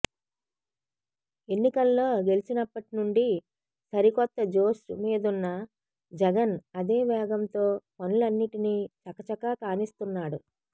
ఎన్నికల్లో గెలిచినప్పటి నుండి సరి కొత్త జోష్ మీదున్న జగన్ అదే వేగం తో పనులన్నిటినీ చక చక కానిస్తున్నాడు